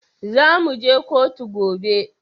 Zamu je koto gobe